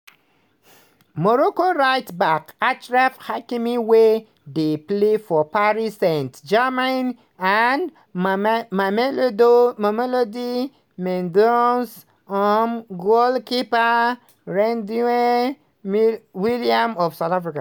morocco right-back achraf hakimi wey dey play for paris saint-germain and mamelodi sundowns um goalkeeper ronwen williams of south africa.